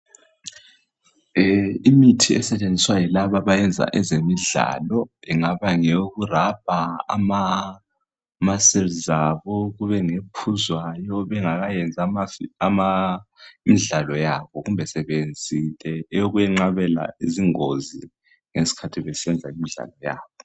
Imithi esetshenziswa yilaba abenza ezemidlalo ingaba ngeyoku rubber ama cells abo , kube nephuzwayo bengakayenzi ama imidlalo yabo kumbe sebeyenzile eyokunqabela izingozi ngesikhathi besenza imidlalo yabo